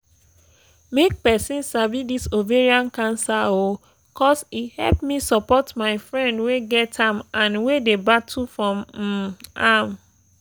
make persin sabi this ovarian cancer oooo cos e help me support my friend wey get am and wey dey battle from um am